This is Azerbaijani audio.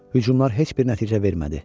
Hücumlar heç bir nəticə vermədi.